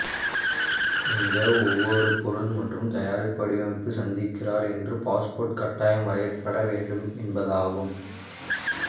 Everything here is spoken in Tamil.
இந்த ஒவ்வொரு பொருள் மற்றும் தயாரிப்பு வடிவமைப்பு சந்திக்கிறார் என்று பாஸ்போர்ட் கட்டாயம் வரையப்பட வேண்டும் என்பதாகும்